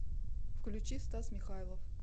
включи стас михайлов